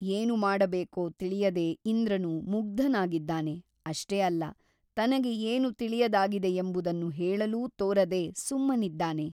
ಏನು ಮಾಡಬೇಕೋ ತಿಳಿಯದೆ ಇಂದ್ರನು ಮುಗ್ಧನಾಗಿದ್ದಾನೆ ಅಷ್ಟೇ ಅಲ್ಲ ತನಗೆ ಏನೂ ತಿಳಿಯದಾಗಿದೆಯೆಂಬುದನ್ನು ಹೇಳಲೂ ತೋರದೆ ಸುಮ್ಮನಿದ್ದಾನೆ.